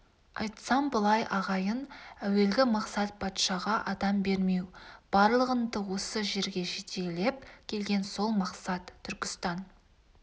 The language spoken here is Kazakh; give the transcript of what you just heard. айтсам былай ағайын әуелгі мақсат патшаға адам бермеу барлығыңды осы жерге жетелеп келген сол мақсат түркістан